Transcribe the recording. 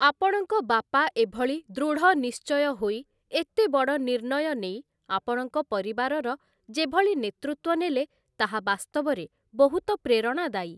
ଆପଣଙ୍କ ବାପା ଏଭଳି ଦୃଢ଼ନିଶ୍ଚୟ ହୋଇ, ଏତେ ବଡ଼ ନିର୍ଣ୍ଣୟ ନେଇ ଆପଣଙ୍କ ପରିବାରର ଯେଭଳି ନେତୃତ୍ୱ ନେଲେ ତାହା ବାସ୍ତବରେ ବହୁତ ପ୍ରେରଣାଦାୟୀ ।